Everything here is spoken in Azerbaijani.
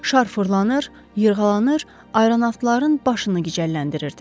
Şar fırlanır, yırğalanır, aeronavtların başını gicəlləndirirdi.